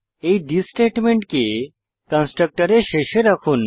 এই থিস স্টেটমেন্টকে কন্সট্রকটরে শেষে রাখুন